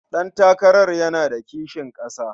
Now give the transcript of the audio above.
Ɗantakarar yana da kishin ƙasa.